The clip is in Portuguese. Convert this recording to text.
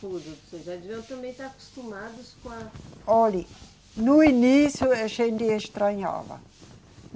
Vocês já deviam também estar acostumados com a. Olha, no início a gente estranhava.